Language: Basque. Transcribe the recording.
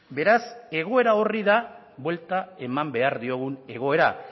beraz egoera horri da buelta eman behar diogun egoera